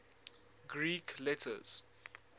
greek letters